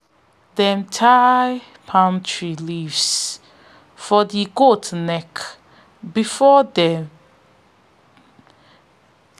them tie palm tree leaves for the goat neck before they